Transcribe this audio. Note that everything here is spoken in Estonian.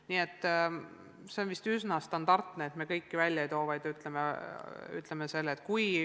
Nii et see on vist üsna standardne, et me kõiki ei nimeta, vaid ütleme üldiselt.